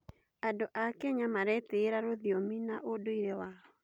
Andũ a Kenya maretĩĩra rũthiomi na ũndũire wao.